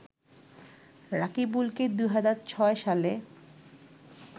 রাকিবুলকে ২০০৬ সালে